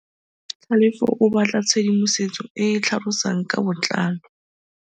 Tlhalefô o batla tshedimosetsô e e tlhalosang ka botlalô.